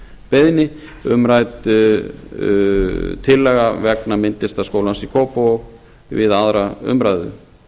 beiðni umrædd tillaga vegna myndlistaskólans í kópavogi við aðra umræðu